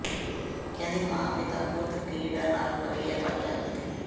ਕਹਿੰਦੀ ਮਾਂ ਪਿਤਾ ਪੁੱਤ ਕਹੀੜਾ ਨਾਲ ਮਵੀਆਂ ਮਰ ਜਾਵੇ